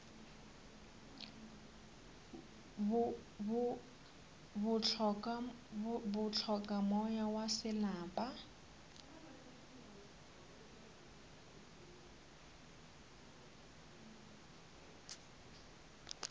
bo hloka moya wa selapa